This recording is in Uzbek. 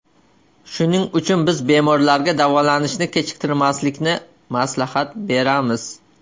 Shuning uchun biz bemorlarga davolanishni kechiktirmaslikni maslahat beramiz.